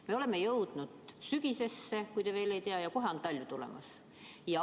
Me oleme jõudnud sügisesse, kui te veel ei tea, ja kohe on tulemas talv.